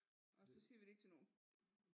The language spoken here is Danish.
Og så siger vi det ikke til nogen